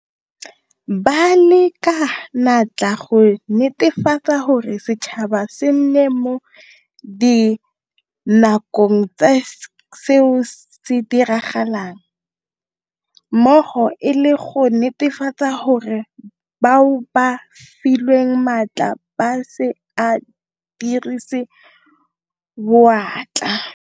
Ba leka ka natla go netefatsa gore setšhaba se nna mo dinakong ka seo se diragalang mmogo le go netefatsa gore bao ba filweng maatla ba se a dirise boatla.